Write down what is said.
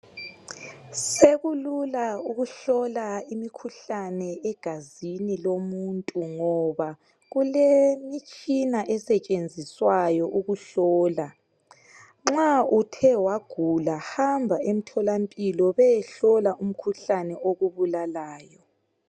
Sekulula ukuhlola imikhuhlane egazini lomuntu ngoba kulemitshina esetshenziswayo ukuhlola. Nxa uthe wagula hamba emtholampilo beyehola imkhuhlane okubulalayo.